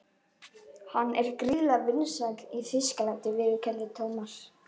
Hann er gríðarlega vinsæll í Þýskalandi viðurkenndi Thomas.